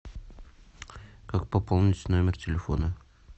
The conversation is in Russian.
как пополнить номер телефона